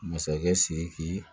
Masakɛ siriki